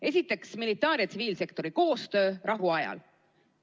Esiteks, militaar- ja tsiviilsektori koostöö rahuajal.